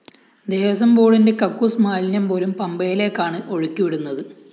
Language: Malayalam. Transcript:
ദേവസ്വംബോര്‍ഡിന്റെ കക്കൂസ്മാലിന്യംപോലും പമ്പയിലേക്കാണ് ഒഴുക്കി വിടുന്നത്